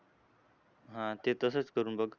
हां ते तसंच करून बघ.